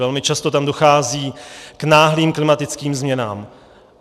Velmi často tam dochází k náhlým klimatickým změnám.